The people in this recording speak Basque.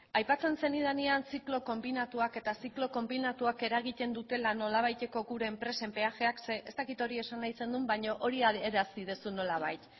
aipatzen zenidanean ziklo konbinatuak eta ziklo konbinatuak eragiten dutela nolabaiteko gure enpresen peajeak zeren ez dakit hori esan nahi zendun baino hori adierazten duzu nolabait